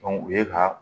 o ye ka